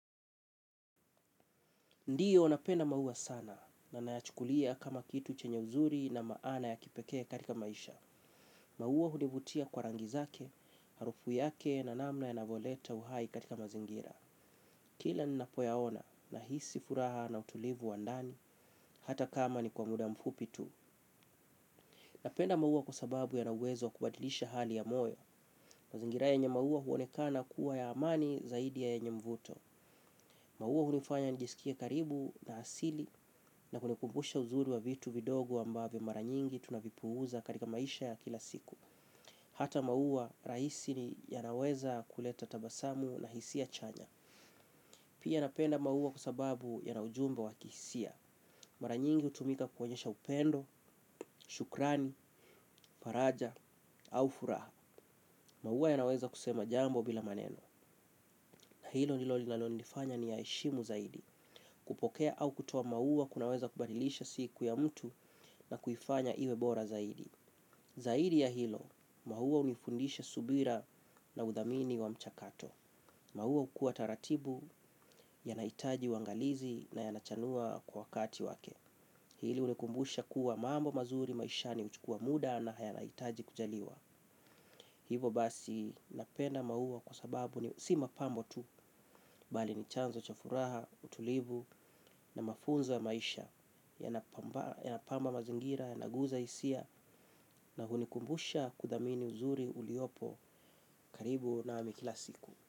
Ndiyo napenda maua sana na naachukulia kama kitu chenye uzuri na maana ya kipekea katika maisha. Maua hunivutia kwa rangi zake, harufu yake na namna yanavoleta uhai katika mazingira. Kila nina poyaona nahisi furaha na utulivu wa ndani hata kama ni kwa muda mfupi tu. Napenda maua kuasababu yana uwezo kubadilisha hali ya moyo. Mazingira yenye maua huonekana kuwa ya amani zaidi yenye mvuto. Mauwa hulifanya nijisikia karibu na asili na kunikumbusha uzuri wa vitu vidogo ambavo maranyingi tunavipuza karika maisha ya kila siku. Hata mauwa rahisi ni yanaweza kuleta tabasamu na hisia chanya. Pia napenda mauwa kua sababu yana ujumbe wa kihisia. Mara nyingi utumika kuwonyesha upendo, shukrani, faraja au furaha. Mauwa yanaweza kusema jambo bila maneno. Hilo nilolilano nifanya niyaeshimu zaidi. Kupokea au kutoa maua kunaweza kubadilisha siku ya mtu na kuifanya iwe bora zaidi. Zaidi ya hilo maua unifundisha subira na udhamini wa mchakato. Maua ukua taratibu yanaitaji wangalizi na yanachanua kwa wakati wake. Hili unikumbusha kuwa mambo mazuri maishani uchukua muda na haya naitaji kujaliwa. Hivo basi napenda maua kwa sababu ni si mapambo tu bali ni chanzo cha furaha, utulivu na mafunzo ya maisha yanapamba mazingira, yanaguza isia na hunikumbusha kudamini uzuri uliopo karibu nami kila siku.